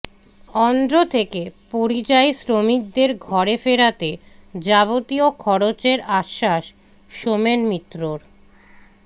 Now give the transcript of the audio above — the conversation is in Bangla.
অন্ধ্র থেকে পরিযায়ী শ্রমিকদের ঘরে ফেরাতে যাবতীয় খরচের আশ্বাস সোমেন মিত্রর